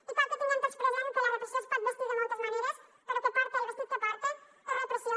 i cal que tinguem tots present que la repressió es pot vestir de moltes maneres però que porte el vestit que porte és repressió